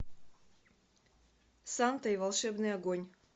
санта и волшебный огонь